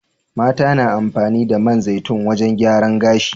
Mata na amfani da man zaitun wajan gyaran gashi